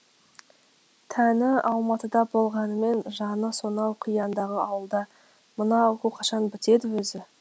тәні алматыда болғанымен жаны сонау қияндағы ауылда мына оқу қашан бітеді өзі